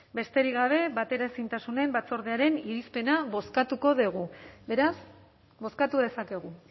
besterik gabe bateraezintasun batzordearen irizpena bozkatuko dugu beraz bozkatu dezakegu